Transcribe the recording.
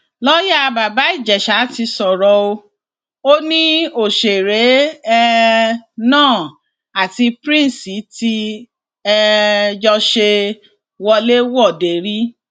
lọọyà bàbá ìjẹsà ti sọrọ o ò ní òṣèré um náà àti prince tí um jọ ṣe wọléwọde rí